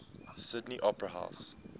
sydney opera house